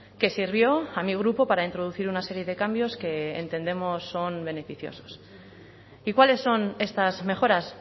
que sirvió a mi grupo para introducir una serie de cambios que entendemos son beneficiosos y cuáles son estas mejoras